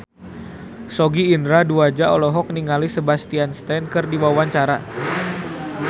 Sogi Indra Duaja olohok ningali Sebastian Stan keur diwawancara